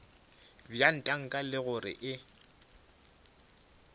bja tanka le gore e